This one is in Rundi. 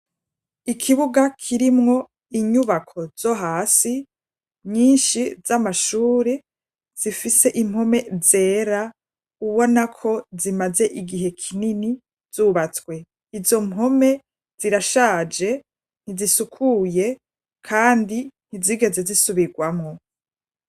Ikibuga kirimwo inyubako zo hasi nyinshi z'amashuri, zifise impome zera ubona ko zimaze igihe kinini zubatswe. Izo mpome zirashaje ntizisukuye kandi ntizigeze zisubirwamo.